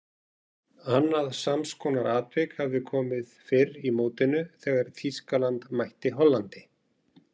Annað samskonar atvik hafði komið fyrr í mótinu þegar Þýskaland mætti Hollandi.